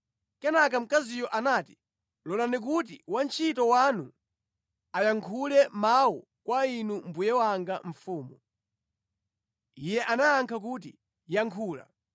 Kenaka mkaziyo anati, “Lolani kuti wantchito wanu ayankhule mawu kwa inu mbuye wanga mfumu.” Iye anayankha kuti, “Yankhula.”